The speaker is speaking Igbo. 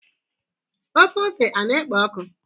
ofe ose a na-ekpo ọkụ?